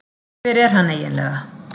Hver er hann eiginlega